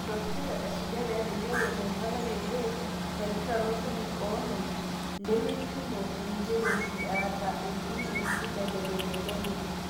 Matokeo esujata edukuya eimu empalai e LAYS naipirta loshon ip oonom, lemeipimo enkiroshi ata etii nkibelekenyat e